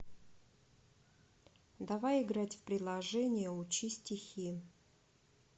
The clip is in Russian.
давай играть в приложение учи стихи